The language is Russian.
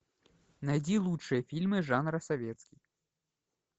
найди лучшие фильмы жанра советский